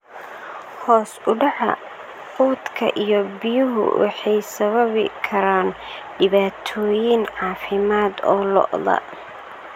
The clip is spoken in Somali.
Hoos u dhaca quudka iyo biyuhu waxay sababi karaan dhibaatooyin caafimaad oo lo'da.